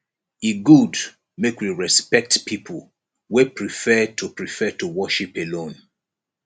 e good make we respect pipo wey prefer to prefer to worship alone